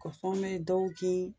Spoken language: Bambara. Nkɔsɔn mɛ dɔw kin